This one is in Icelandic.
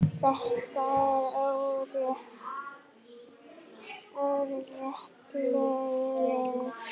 Þetta var óralöng ferð.